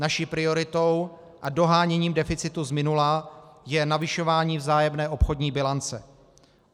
Naší prioritou a doháněním deficitu z minula je navyšování vzájemné obchodní bilance.